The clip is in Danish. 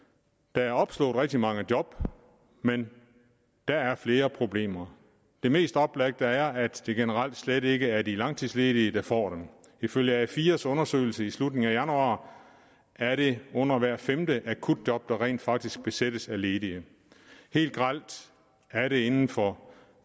der er opslået rigtig mange job men der er flere problemer det mest oplagte er at det generelt slet ikke er de langtidsledige der får dem ifølge a4s undersøgelse i slutningen af januar er det under hvert femte akutjob der rent faktisk besættes af ledige helt grelt er det inden for